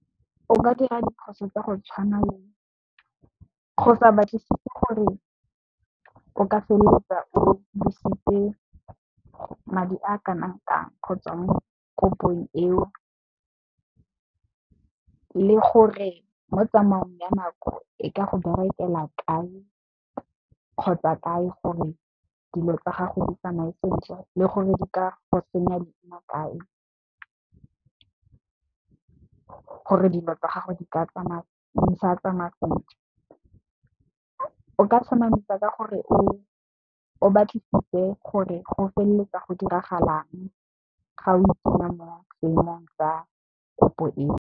O ka dira diphoso tsa go tshwana le go sa batlisise gore o ka feleletsa o dirisitse madi a kanang kang kgotsa mo kopong eo, le gore mo tsamaong ya nako e ka go berekela kae kgotsa kae gore dilo tsa gago di tsamae sentle, le gore di ka go senya leina kae gore dilo tsa gago di sa tsamaya sentle. O ka tlhomamisa ka gore o batlisitse gore go feleletsa go diragalang ga o itsenya mo seemong ka kopo eo.